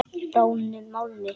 Bráðnum málmi.